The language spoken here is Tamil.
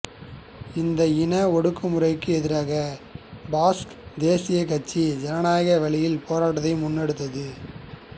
இந்த இன ஒடுக்குமுறைக்கு எதிராக பாஸ்க் தேசியக்கட்சி ஜனநாயக வழியில் போராட்டத்தை முன்னெடுத்தது